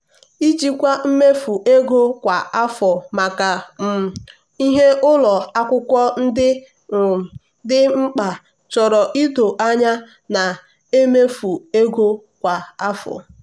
ijikwa mmefu ego kwa afọ maka um ihe ụlọ akwụkwọ ndị um dị mkpa chọrọ ido anya na-emefu ego kwa afọ.